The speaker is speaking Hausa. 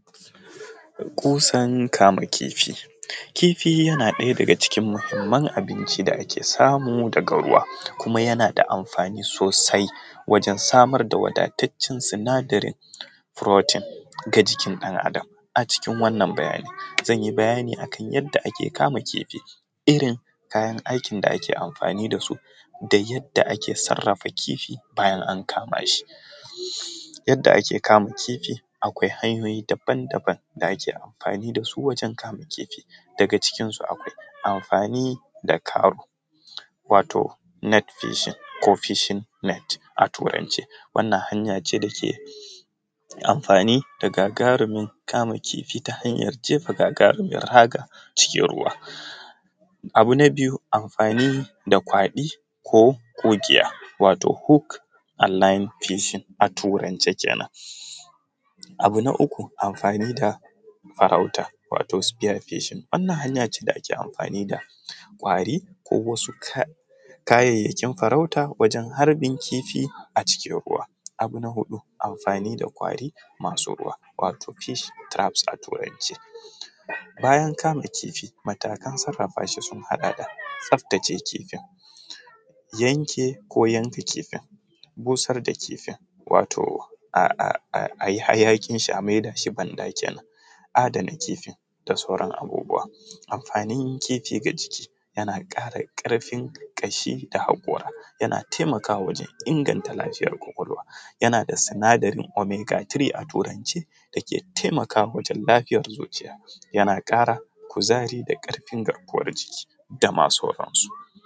Kusan kama kifi, kifi yana ɗaya daga cikin muhimman abinci da ake samu daga ruwa kuma yana da amfani sosai wajen samar da wadatacen sinadarin protein na jikin ɗan adam daga cikin wannan bayani zan yi bayani kan yadda ake kama kifi irin kayan aiki da ke amfani dasu da yadda ake sarafa kifi bayan an kama shi, yadda ake kama kifi akwai hanyoyi daban-daban da ake amfani dasu wajen kama kifi daga cikin su akwai amfani da karo wato net fishing ko fishing net, a turance wannan hanya ce dake amfani da gagarumin kama kifi ta hanyar gagarumin raga cikin ruwa abu na biyu amfani da kwali ko kugiya wato hook aline fishing a turance kenan, abu na uku amfani da farauta wato sphere fishing wannan hanya ce da ake amfani da ƙwari ko wasu kayayyakin farauta wajen harbin kifi a cikin ruwa abu na huɗu amfani da ƙwari masu ruwa wato fish traps a turance bayan kama kifi matakan sarafawa shi sun haɗa da tsaftace kifin yanke ko yanke kifin busar da kifin wato ayi hayaƙin shi a maida shi banɗa kenan, a adana kifin da sauran abubuwa amfanin kifi a jiki yana ƙara karfin ƙashi da haƙora yana taimakawa wajen inganta lafiyar kwakwalwa yana da sinadarin omega 3 a turance da ke taimaka mutum lafyar zuciya yana ƙara kuzari da ƙarfin garkuwar jiki dama sauran su.